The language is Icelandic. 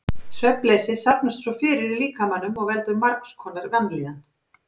Svefnleysi safnast svo fyrir í líkamanum og veldur margs konar vanlíðan.